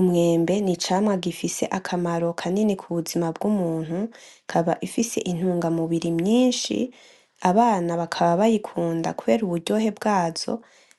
Umwembe ni icamwa gifise akamaro kanini ku buzima bw'umuntu ikaba ifise intungamubiri myinshi abana bakaba bayikunda kubera uburyohe bwazo